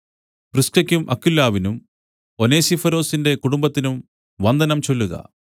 പ്രിസ്കെക്കും അക്വിലാവിനും ഒനേസിഫൊരൊസിന്റെ കുടുംബത്തിനും വന്ദനം ചൊല്ലുക